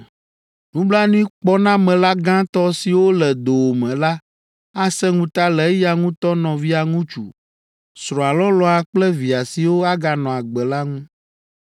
Nublanuikpɔnamela gãtɔ siwo le dowòme la asẽ ŋuta le eya ŋutɔ nɔvia ŋutsu, srɔ̃a lɔlɔ̃a kple via siwo aganɔ agbe la ŋu.